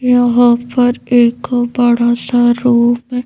यहां पर एक बड़ासा रूम --